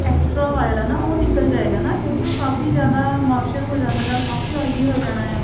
extra oil ਆ ਨਾ ਉਹ ਨਿਕਲ ਜਾਏਗਾ ਨਾ ਕਿਉਂਕਿ ਉਹ ਕਾਫੀ ਜਿਆਦਾ moisture ਹੋ ਜਾਂਦਾ ਨਾਲੇ ਕਫ਼ਨ ਜਿਆਦਾ oily ਹੋ ਜਾਣਾ